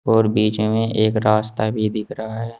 और बीच में एक रास्ता भी दिख रहा है।